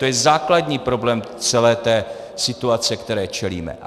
To je základní problém celé té situace, které čelíme.